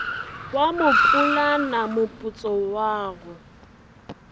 wa mopulana moputso wa go